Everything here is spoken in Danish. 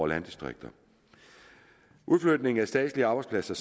landdistrikter udflytningen af statslige arbejdspladser